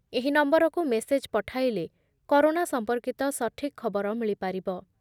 ଏହି ନମ୍ବରକୁ ମେସେଜ୍ ପଠାଇଲେ କରୋନା ସମ୍ପର୍କିତ ସଠିକ୍ ଖବର ମିଳିପାରିବ ।